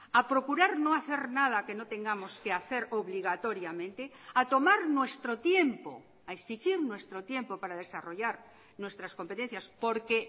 a procurar no hacer nada que no tengamos que hacer obligatoriamente a tomar nuestro tiempo a exigir nuestro tiempo para desarrollar nuestras competencias porque